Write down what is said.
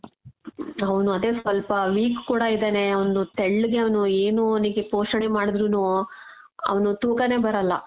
ಅವ್ನು ಅದೇ ಸ್ವಲ್ಪ weak ಕೂಡ ಇದಾನೆ ಅವ್ನು ತೆಳ್ಳಗೆ ಅವ್ನು ಏನು ಅವ್ನಿಗೆ ಪೋಷಣೆ ಮಾಡುದ್ರುನು ಅವ್ನು ತೂಕಾನೆ ಬರಲ್ಲ .